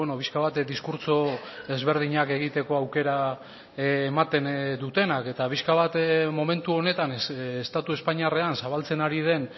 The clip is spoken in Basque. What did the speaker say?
pixka bat diskurtso ezberdinak egiteko aukera ematen dutenak eta pixka bat momentu honetan estatu espainiarrean zabaltzen ari den